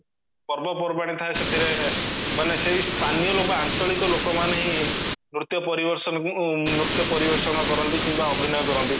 ପର୍ବ ପର୍ବାଣି ଥାୟେ ସେଥିରେ ମାନେ ସେଇ ସ୍ଥାନୀୟ ଲୋକ ଆଞ୍ଚଳିକ ଲୋକ ମାନେ ହିଁ ନୃତ୍ୟ ନୃତ୍ୟ ପରିବେଷଣ କରନ୍ତି କିମ୍ବା ଅଭିନୟ କରନ୍ତି